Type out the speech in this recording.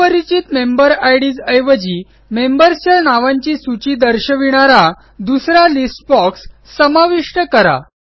अपरिचित member IDs ऐवजी मेंबर्सच्या नावांची सूची दर्शविणारा दुसरा लिस्ट बॉक्स समाविष्ट करा